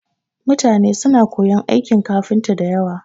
Mutane suna koyon aikin kafinta da yawa